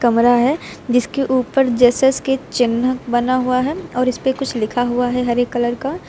कमरा है जिसके ऊपर जेसस के चिन्ह बना हुआ है और इसपे कुछ लिखा हुआ है हरे कलर का।